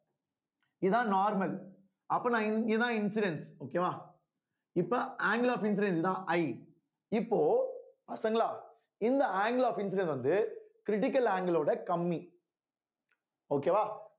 இதான் normal அப்ப நான் இந்~ இதான் incidence okay வா இப்ப angle of incidence தான் I இப்போ பசங்களா இந்த angle of incidence வந்து critical angle ஓட கம்மி okay வா